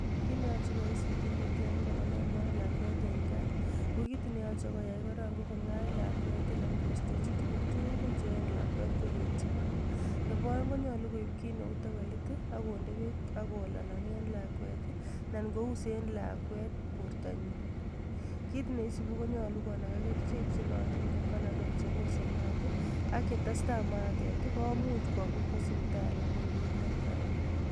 Kit neyachei koyai sigindet yon kalale maat lakwet eng gaa ,ko kit ne yachei koyai korok ko ko'gany lakwet ,anan koistejin tugul tugul che kanyei lakwet koetchi maa. Nebo aeng konyalu koib kiit neu tawelit akonde beek, akolalanye lakwet anan kouse lakwet borto nyin. Kit neisubi konyalu konaga kerichek chenayotin ko panadal, chebosei maat. AK yetestai mayatet komuch komut kowa sipitali kobakoger takitari